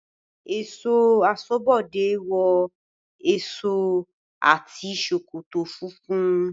Ẹ̀ṣọ́ aṣọ́bodẹ̀ wọ aṣọ àti ṣòkòtò funfun.